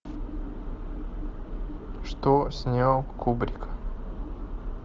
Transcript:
что снял кубрик